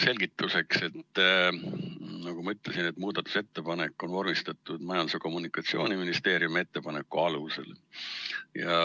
" Selgituseks, nagu ma ütlesin, on see muudatusettepanek vormistatud Majandus- ja Kommunikatsiooniministeeriumi ettepaneku alusel.